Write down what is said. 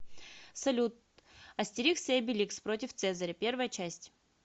салют астерикс и обеликс против цезаря первая часть